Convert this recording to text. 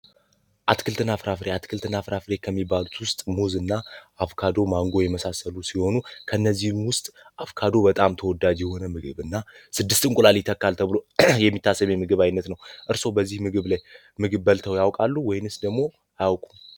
አትክልትና ፍራፍሬ ፍራፍሬ ከሚባሉት ውስጥ እና አቮካዶየመሳሰሉ ሲሆኑ፤ ከእነዚህ ውስጥ አቮካዱ በጣም ተወዳጁ እና ስድስት እንቁላል ተብሎ የሚታሰበ ምግብ አይነት ነው። እርሶ በዚህ ምግብ ላይ ምግብ በልተው ያውቃሉ ወይስ ደግሞ አያውቁም?